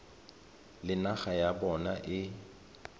le naga ya bona e